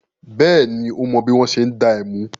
Bẹ́ẹ̀ni, ó mọ bí wọ́n ṣe ń dá ẹmu.